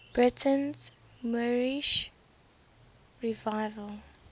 britain's moorish revival